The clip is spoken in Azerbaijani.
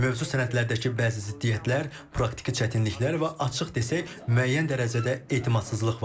Mövcud sənədlərdəki bəzi ziddiyyətlər, praktiki çətinliklər və açıq desək müəyyən dərəcədə etimadsızlıq var.